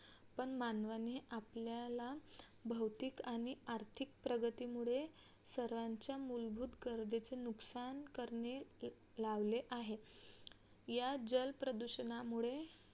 पण मानवाने आपल्याला भौतिक आणि आर्थिक प्रगतीमुळे सर्वांच्या मूलभूत गरजेचे नुकसान करणे लावले आहे या जलप्रदूषणामुळे